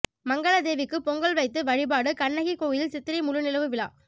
மங்கலதேவிக்கு பொங்கல் வைத்து வழிபாடு கண்ணகி கோயிலில் சித்திரை முழுநிலவு விழா